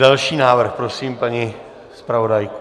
Další návrh, prosím paní zpravodajku.